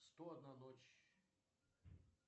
сто одна ночь